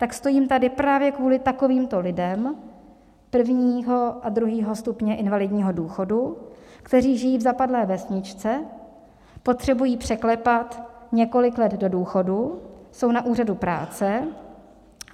Tak stojím tady právě kvůli takovýmto lidem prvního a druhého stupně invalidního důchodu, kteří žijí v zapadlé vesničce, potřebují překlepat několik let do důchodu, jsou na úřadu práce.